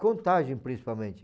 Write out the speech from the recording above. Contagem, principalmente.